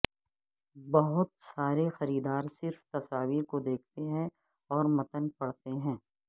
بہت سارے خریدار صرف تصاویر کو دیکھتے ہیں اور متن پڑھتے ہیں